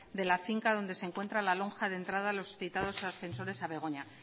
de la finca donde se encuentra la lonja de entrada a los citados ascensores de begoña